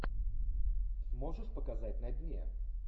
сможешь показать на дне